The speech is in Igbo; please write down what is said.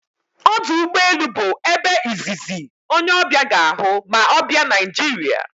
Ọdụ ụgbọ elu bụ ebe izizi onye ọbịa ga-ahụ ma ọ bịạ Naịjiria